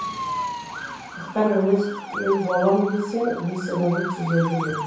мұхтар әуезов ел болам десең бесігіңді түзе деген